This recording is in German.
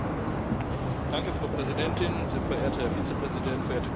Frau Präsidentin, sehr verehrter Herr Vizepräsident, verehrte Kolleginnen und Kollegen!